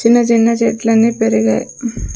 చిన్న చిన్న చెట్లన్నీ పెరిగాయి.